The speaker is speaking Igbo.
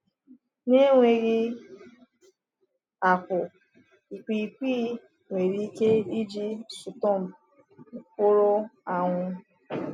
Na enweghị akwụ, ikwiikwii nwere ike iji stump nwụrụ anwụ.